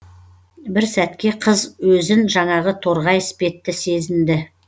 бір сәтке қыз өзін жаңағы торғай іспетті сезінді